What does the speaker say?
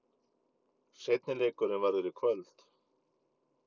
Seinni leikurinn verður í kvöld.